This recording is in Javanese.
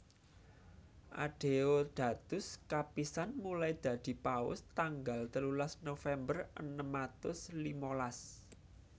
Adeodatus kapisan mulai dadi Paus tanggal telulas November enem atus limalas